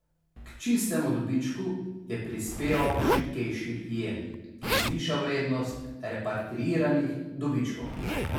K čistemu dobičku je prispeval šibkejši jen, ki zviša vrednost repatriiranih dobičkov.